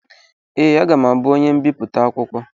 Ee, aga m abụ onye mbipụta akwụkwọ.